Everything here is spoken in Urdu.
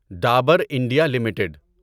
Dabur India limited